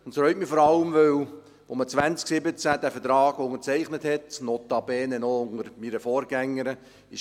Es reut mich vor allem, weil man von anderen Vorzeichen ausging, als man 2017 diesen Vertrag unterzeichnete, notabene noch unter meiner Vorgängerin.